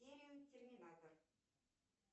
фильм терминатор